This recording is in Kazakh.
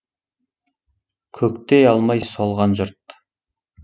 көктей алмай солған жұрт